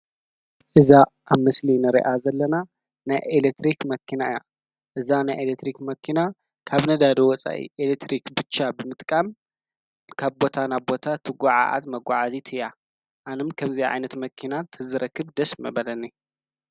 እዛ ኣብ ምስሊ ንሪኣ ዘለና ናይ ኤለትሪክ መኪና እያ እዛ ናይ ኤለትሪክ መኪና ካብ ነዳዲ ወፃኢ ኤለትሪክ ብቻ ብምጥቃም ካብ ቦታ ናብ ቦታ ትጉዓዝ መጓዓዓዚት እያ ኣንም ከዚኣ ዓይነት መኪና ተዝረክብ ደስ ምበለኒ።